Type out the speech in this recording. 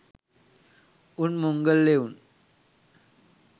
උන් මොංගල් එවුන්.